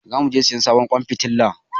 Zamu je siyan sabon ƙwan fitilar.